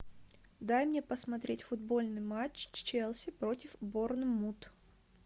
дай мне посмотреть футбольный матч челси против борнмут